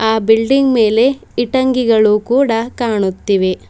ಆ ಬಿಲ್ಡಿಂಗ್ ಮೇಲೆ ಇಟಂಗಿಗಳು ಕೂಡ ಕಾಣುತ್ತಿವೆ.